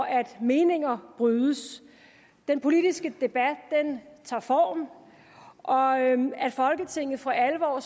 at meninger brydes den politiske debat tager form og at folketinget for alvor